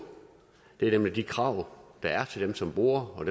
det er nemlig de krav der er til dem som borer og